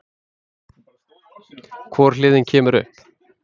Hvor hliðin kemur upp?